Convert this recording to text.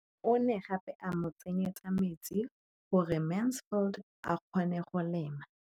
O ne gape a mo tsenyetsa metsi gore Mansfield a kgone go lema.